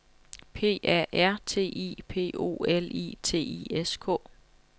P A R T I P O L I T I S K